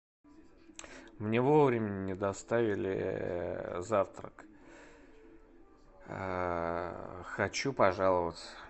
мне вовремя не доставили завтрак хочу пожаловаться